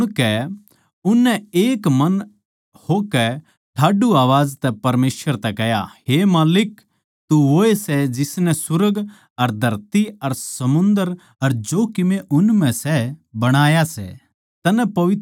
न्यू सुणकै उननै एक मन होकै ठाड्डू आवाज तै परमेसवर तै कह्या हे माल्लिक तू वोए सै जिसनै सुर्ग अर धरती अर समुन्दर अर जो कीमे उन म्ह सै बणाया सै